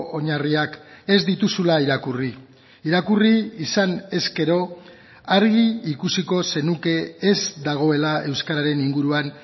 oinarriak ez dituzula irakurri irakurri izan ezkero argi ikusiko zenuke ez dagoela euskararen inguruan